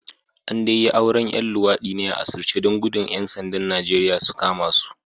An dai yi auren ‘yan luwadi ne a asirce don gudun kada ‘yan sandan Najeriya su kama su